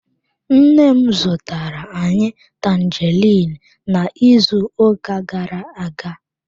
Nne m zụtara anyị tanjeriin n'izuụka gara-aga.